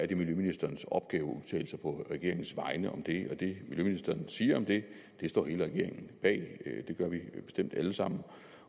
det miljøministerens opgave at udtale sig på regeringens vegne om det og det miljøministeren vil sige om det står hele regeringen bag det gør vi bestemt alle sammen